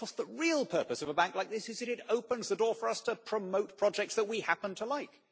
The real purpose of a bank like this is that it opens the door for us to promote projects that we happen to like.